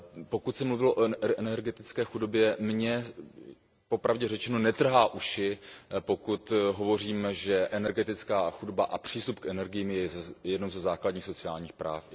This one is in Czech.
Pokud se mluvilo o energetické chudobě, mě popravdě řečeno netrhá uši, pokud tvrdíme, že energetická chudoba a přístup k energiím je jedním ze základních sociálních práv.